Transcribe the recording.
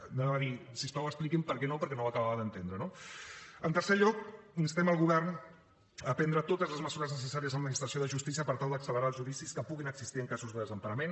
anava a dir si us plau expliqui’m per què no perquè no ho acabava d’entendre no en tercer lloc instem el govern a prendre totes les mesures necessàries en l’administració de justícia per tal d’accelerar els judicis que pugin existir en casos de desemparament